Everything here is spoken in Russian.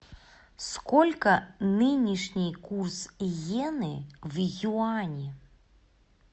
сколько нынешний курс йены в юани